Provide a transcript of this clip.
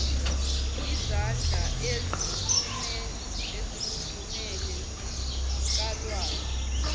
yezandla ezifudumele zikalwazi